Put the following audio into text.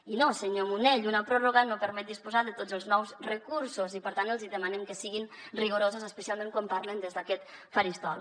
i no senyor munell una pròrroga no permet disposar de tots els nous recursos i per tant els hi demanem que siguin rigorosos especialment quan parlen des d’aquest faristol